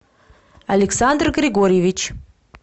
александр григорьевич